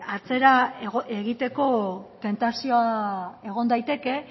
atzera egiteko tentazioa egon daiteke